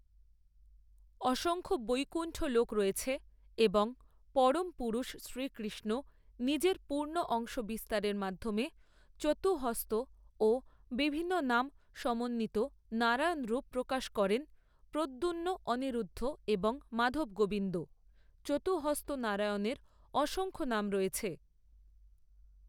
অসংখ্য বৈকুন্ঠ লোক রয়েছে এবং পরম পুরুষ শ্রীকৃষ্ণ নিজের পূর্ণ অংশ বিস্তারের মাধ্যমে চতুঃহস্ত ও বিভিন্ন নাম সমন্বিত নারায়ণ রূপ প্রকাশ করেন প্রদ্যুম্ন অনিরুদ্ধ এবং মাধব গোবিন্দ। চতুঃহস্ত নারায়ণের অসংখ্য নাম রয়েছে।